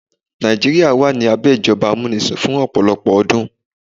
Nàìjíríà wà ní abẹ́ ìjọba amúnisìn fún ọ̀pọ̀lọpọ̀ ọdún.